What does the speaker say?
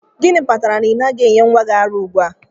Gịnị kpatara na ị naghị enye nwa gị ara ugbu a?